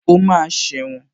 O máa sẹ̀wọ̀n